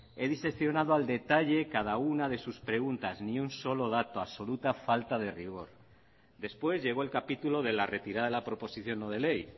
he diseccionado al detalle cada una de sus preguntas ni un solo dato absoluta falta de rigor después llegó el capítulo de la retirada de la proposición no de ley